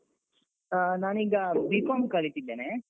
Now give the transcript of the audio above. ಆ ನಾನೀಗ B.Com ಕಲಿತಿದ್ದೇನೆ